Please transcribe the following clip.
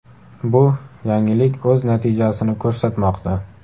Bu yangilik o‘z natijasini ko‘rsatmoqda.